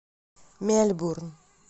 мельбурн